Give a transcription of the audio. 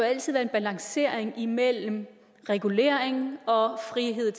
balancering mellem regulering og frihed